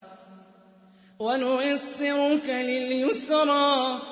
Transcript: وَنُيَسِّرُكَ لِلْيُسْرَىٰ